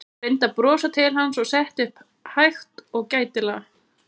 Hún reyndi að brosa til hans og settist svo upp hægt og gætilega.